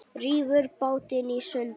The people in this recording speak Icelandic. Rífur bátinn í sundur.